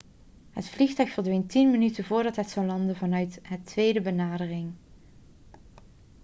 het vliegtuig verdween 10 minuten voordat het zou landen vanuit de tweede benadering